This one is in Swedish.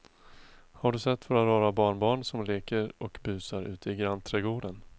Har du sett våra rara barnbarn som leker och busar ute i grannträdgården!